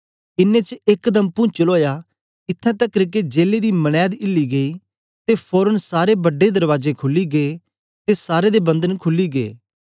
इन्नें च एकदम पुंचल ओया इत्थैं तकर के जेले दी मनैद हिली गेई ते फोरन सारे बड्डे दरबाजे खुली गै ते सारे दे बंधन खुली गै